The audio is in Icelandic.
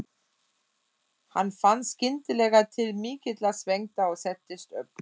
Hann fann skyndilega til mikillar svengdar og settist upp.